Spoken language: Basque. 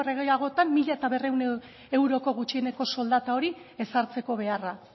gehiagotan mila berrehun euroko gutxieneko soldata hori ezartzeko beharra